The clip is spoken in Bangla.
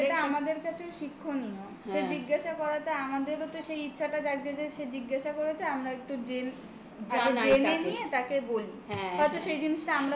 সেটা আমাদের কাছে শিক্ষণীয় সে জিজ্ঞাসা করাতে আমাদেরও তো সেই ইচ্ছাটা জাগছে যে সে জিজ্ঞাসা করেছে আমরা একটু জেনে নিয়ে তাকে বলি হ্যাঁ. হয়তো সেই জিনিসটা আমরাও জানি. না